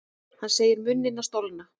Hann segir munina stolna.